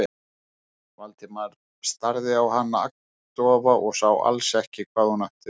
Valdimar starði á hana agndofa og sá alls ekki hvað hún átti við.